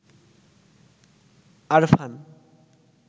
Arfan